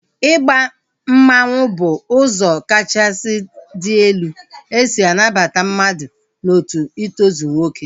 Ịba mmanwu bụ ụzọ kachasị dị elu esi anabata mmadụ n'otu itozu nwoke